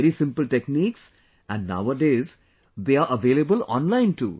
Very simple techniques and nowadays they are available online too